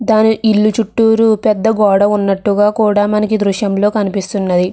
దాని ఇల్లు చుట్టూరు పెద్ద గోడ ఉన్నట్టుగా కూడా మనకి దృశ్యంలో కనిపిస్తున్నది.